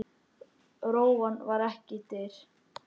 Rófan var ekki dýr.